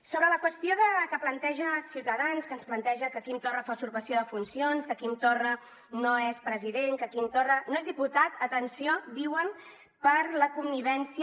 sobre la qüestió que planteja ciutadans que ens planteja que quim torra fa usurpació de funcions que quim torra no és president que quim torra no és diputat atenció diuen per la connivència